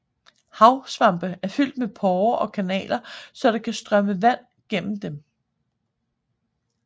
Havsvampe er fyldt med porrer og kanaler så der kan strømme vand gennem dem